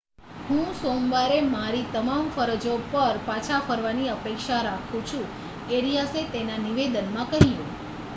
હું સોમવારે મારી તમામ ફરજો પર પાછા ફરવાની અપેક્ષા રાખું છું એરિયાસે એક નિવેદનમાં કહ્યું